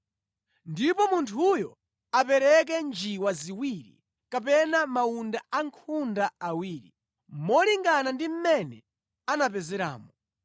Ndipo munthuyo apereke njiwa ziwiri kapena mawunda ankhunda awiri, molingana ndi mmene anapezeramo,